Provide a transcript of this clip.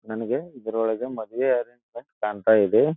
ನನಗೆ ಇದರೊಳಗೆ ಮದುವೆ ಅಂತ ಕಾಣ್ತಾ ಇದೆ.